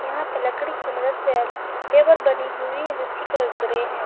यहाँ पर लकड़ी की मदद से टेबल बनी हुई है जिसकी कलर ग्रे हैं।